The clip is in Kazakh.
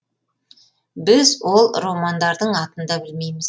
біз ол романдардың атын да білмейміз